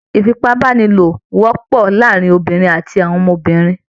Ìfipábánilò wọ́pọ̀ láàrin àwọn obìnrin àti àwọn ọmọbìnrin.